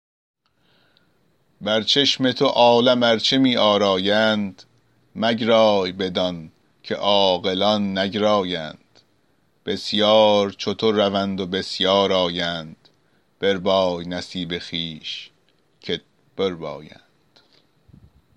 بر چشم تو عالم ارچه می آرایند مگرای بدان که عاقلان نگرایند بسیار چو تو روند و بسیار آیند بربای نصیب خویش کت بربایند